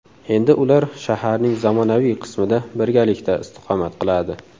Endi ular shaharning zamonaviy qismida birgalikda istiqomat qiladi.